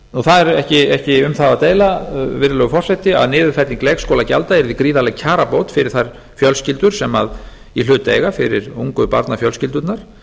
það er ekki um það að deila virðulegur forseti að niðurfelling leikskólagjalda yrði gríðarleg kjarabót fyrir þær fjölskyldur sem í hlut eiga fyrir ungu barnafjölskyldurnar